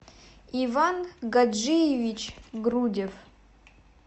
иван гаджиевич грудев